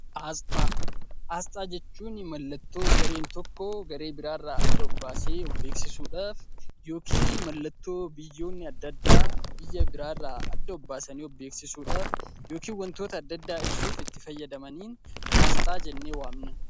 Asxaa jechuun mallattoo gareen tokko garee biraarraa adda of baasee of beeksisuudhaaf yookiin mallattoo biyyoonni adda addaa biyya biraarraa adda of baasanii of beeksisuudhaaf yookiin wantoota adda addaa ibsuuf itti fayyadamaniin asxaa jennee waamna.